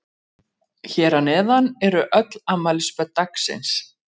Hér að neðan eru öll afmælisbörn dagsins.